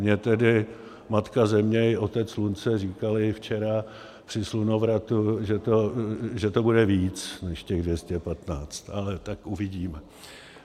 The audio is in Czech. Mně tedy Matka Země i Otec Slunce říkali včera při slunovratu, že to bude víc než těch 215, ale tak uvidíme.